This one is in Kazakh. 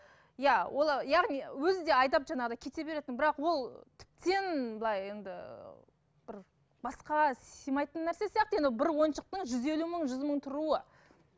иә ол яғни өзі де айтады жаңағыдай кете бересің бірақ ол тіптен былай енді бір басқа сыймайтын нәрсе сияқты енді бір ойыншықтың жүз елу мың жүз мың тұруы